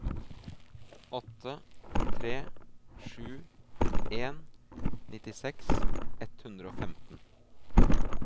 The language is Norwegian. åtte tre sju en nittiseks ett hundre og femten